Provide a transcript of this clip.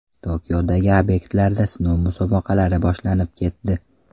Tokiodagi obyektlarda sinov musobaqalari boshlanib ketdi.